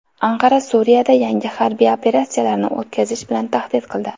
Anqara Suriyada yangi harbiy operatsiyalarni o‘tkazish bilan tahdid qildi.